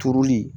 Turuli